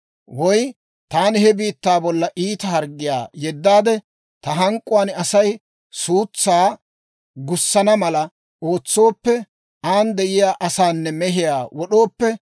«Woy taani he biittaa bollan iita harggiyaa yeddaade, ta hank'k'uwaan Asay suutsaa gussana mala ootsooppe, an de'iyaa asaanne mehiyaa wod'ooppe,